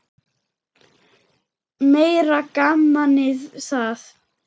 Meira gamanið það!